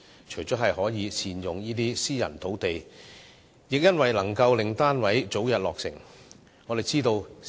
此舉除了可善用私人土地外，亦可令單位早日落成。